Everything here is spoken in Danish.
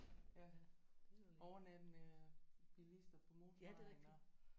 Ja overnattende bilister på motorvejen og